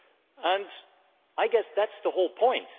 I guess that is the whole point.